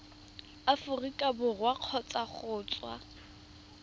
aforika borwa kgotsa go tswa